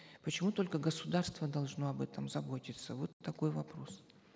почему только государство должно об этом заботиться вот такой вопрос